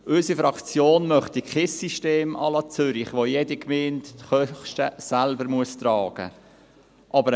Unsere Fraktion möchte kein System à la Zürich, in dem jede Gemeinde ihre Kosten selbst tragen muss.